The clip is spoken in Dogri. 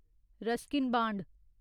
Ruskin band